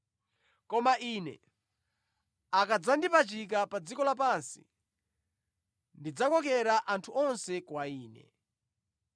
Koma Ine, akadzandipachika pa dziko lapansi, ndidzakokera anthu onse kwa Ine.”